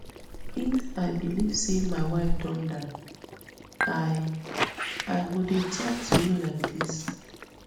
if i believe say my wife don die i i go dey tok to you like dis